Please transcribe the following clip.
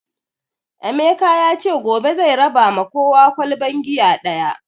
Emeka yace gobe zai raba ma kowa ƙwalban giya ɗaya